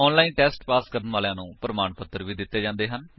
online test pass ਕਰਨ ਵਾਲਿਆਂ ਨੂੰ ਪ੍ਰਮਾਣ ਪੱਤਰ ਵੀ ਦਿੰਦੇ ਹਨ